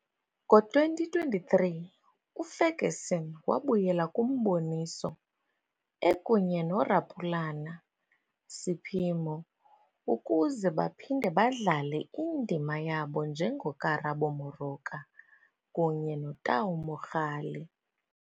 Ngo-2023, uFerguson wabuyela kumboniso, ekunye noRapulana Seiphemo ukuze baphinde badlale indima yabo njengoKarabo Moroka kunye noTau Mogale.